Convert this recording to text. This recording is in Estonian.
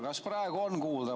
Kas praegu on kuulda?